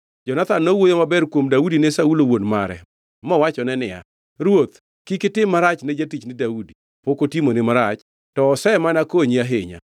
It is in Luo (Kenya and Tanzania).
Jonathan nowuoyo maber kuom Daudi ne Saulo, wuon mare, mowachone niya, “Ruoth kik itim marach ne jatichni Daudi; pok otimoni marach, to osemana konyi ahinya.